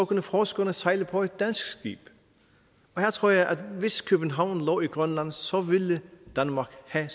kunne forskerne sejle på et dansk skib her tror jeg at hvis københavn lå i grønland så ville danmark have